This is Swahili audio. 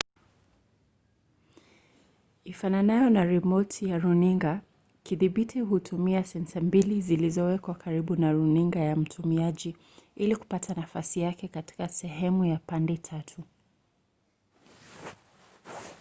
ifananayo na rimoti ya runinga kidhibiti hutumia sensa mbili zilizowekwa karibu na runinga ya mtumiaji ili kupata nafasi yake katika sehemu ya pande tatu